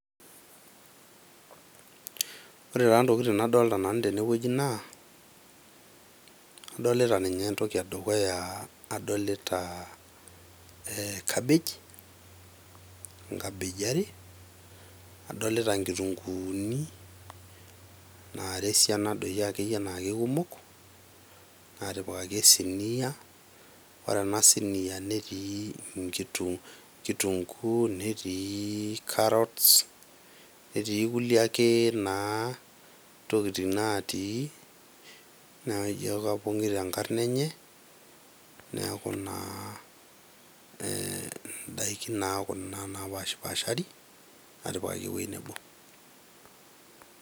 Ore taa ntokitin nadolita tene naa adolita, adolita ninye entoki edukuya ,adolita ee cabbage, inkabeji are , adolita nkituguuni nara esiana doi akeyie naa kikumok , natipikaki esinia. Ore ena sinia netii kitunguu ,netii karots, netii kulie tokitin ake natii naijo kapongito enkarna enye , niaku naa indaikin naa kuna naa napashpashari natipikaki ewueji nebo.